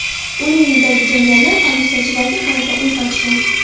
Uning uyidagi jangarilar politsiyachilarga qarata o‘t ochgan.